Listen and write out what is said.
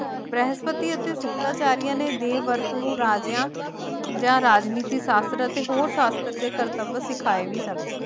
ਬ੍ਰਹਿਸਪਤੀ ਅਤੇ ਸ਼ੁਕਰਾਚਾਰੀਆ ਨੇ ਦੇਵਵਰਤ ਨੂੰ ਰਾਜਿਆਂ ਜਾਂ ਰਾਜਨੀਤੀ ਸ਼ਾਸਤਰ ਅਤੇ ਹੋਰ ਸ਼ਾਸਤਰ ਦੇ ਕਰਤੱਵ ਸਿਖਾਏ ਵੀ ਸਨ